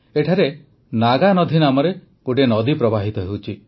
ଏଠାରେ ନାଗାନଧି ନାମରେ ଗୋଟିଏ ନଦୀ ପ୍ରବାହିତ ହେଉଛି